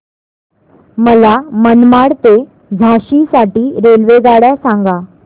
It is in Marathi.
मला मनमाड ते झाशी साठी रेल्वेगाड्या सांगा